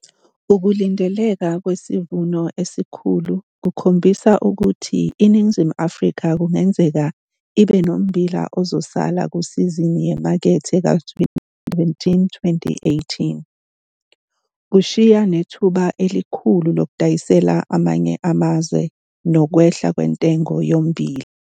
Ukulindeleka kwesivuno esikhulu kukhombisa ukuthi iNingizimu Afrika kungenzeke ibe nommbila ozosala kusizini yemakethe ka-2017, 2018, kushiya nethuba elikhulu lokudayisela amanye amazwe nokwehla kwentengo yommbila.